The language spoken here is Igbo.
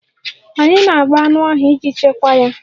Anyị na-agba anụ ahụ iji chekwaa ya